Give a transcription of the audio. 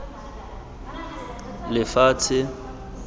lefatshe